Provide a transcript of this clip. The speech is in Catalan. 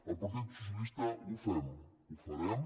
el partit socialista ho fem ho farem